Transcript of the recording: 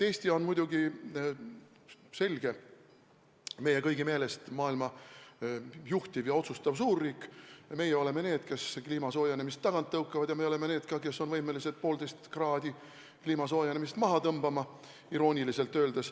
Eesti on muidugi, selge see, meie kõigi meelest maailma juhtiv ja otsustav suurriik, meie oleme need, kes kliima soojenemist tagant tõukavad, ja me oleme ka need, kes on võimelised poolteist kraadi kliima soojenemist maha tõmbama – irooniliselt öeldes.